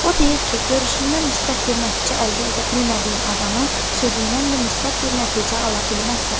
O deyir ki, görüşündən müsbət bir nəticə əldə edə bilmədiyin adamın sözündən də müsbət bir nəticə ala bilməzsən.